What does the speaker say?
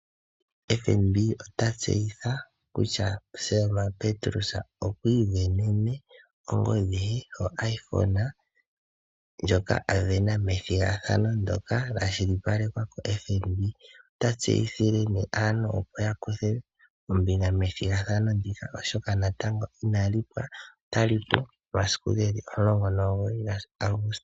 FNB ota tseyitha kutya Selma Petrus okwiivenena ongodhi ye oIphone, ndjoka avena methigathano ndoka lya kwashilipalekwa ko FNB. Ota tseyithile natango aantu yakuthe ombinga methigathano ndyoka oshoka natango inali hula, otali kahula momasiku omulongo nomugoyi gaAguste.